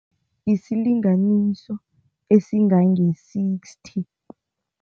Isilinganiso esingange-sixty.